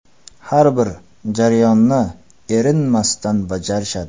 Har bir jarayonini erinmasdan bajarishadi.